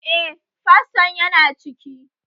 Eh, faston yana ciki